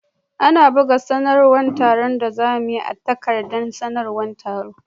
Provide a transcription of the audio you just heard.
An buga sanarwar taron da za mu yi a takardar sanarwar taro.